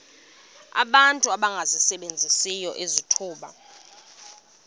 abantu abangasebenziyo izithuba